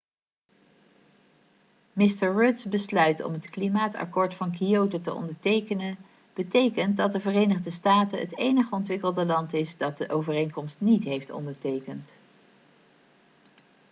mr rudds besluit om het klimaatakkoord van kyoto te ondertekenen betekent dat de verenigde staten het enige ontwikkelde land is dat de overeenkomst niet heeft ondertekend